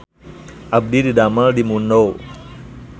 Abdi didamel di Mundo